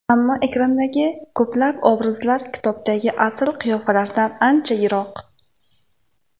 Ammo ekrandagi ko‘plab obrazlar kitobdagi asl qiyofalardan ancha yiroq.